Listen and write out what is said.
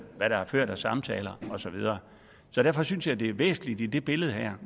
hvad der er ført af samtaler og så videre så derfor synes jeg det er væsentligt i det billede her